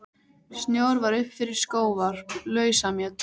Snjór var upp fyrir skóvarp, lausamjöll.